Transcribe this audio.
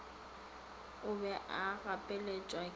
o be a gapeletšwa ke